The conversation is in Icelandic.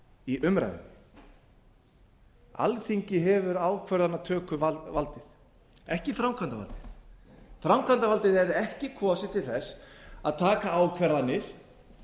í umræðunni alþingi hefur ákvarðanatökuvaldið ekki framkvæmdarvaldið framkvæmdarvaldið er ekki kosið til þess að taka ákvarðanir